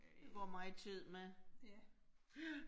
Går meget tid med. Ja